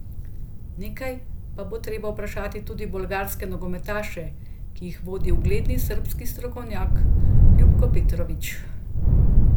Nekaj pa bo treba vprašati tudi bolgarske nogometaše, ki jih vodi ugledni srbski strokovnjak Ljupko Petrović.